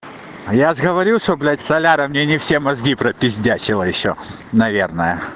я ж говорил что блять соляра мне не все мозги пропиздячила ещё наверное